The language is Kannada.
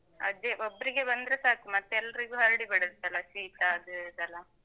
ಅದೇ ಒಬ್ರಿಗೆ ಬಂದ್ರೆ ಸಾಕು, ಮತ್ತೆ ಎಲ್ರಿಗೂ ಹರಡಿ ಬಿಡುತ್ತಲ್ಲಾ, ಶೀತ ಅದು ಇದೆಲ್ಲಾ.